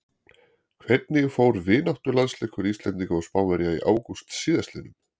Hvernig fór vináttulandsleikur Íslendinga og Spánverja í ágúst síðastliðnum?